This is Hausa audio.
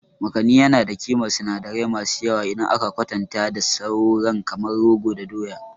Makani yana da ƙimar sinadirai masu yawa idan aka kwatanta da sauran kamar rogo da doya.